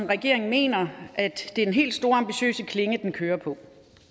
regeringen mener at det er den helt store ambitiøse klinge den kører på